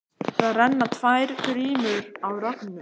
Það renna tvær grímur á Rögnu.